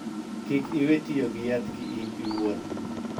Kik iwee tiyo gi yath ki in owuon.